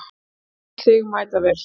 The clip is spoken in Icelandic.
Skil þig mætavel.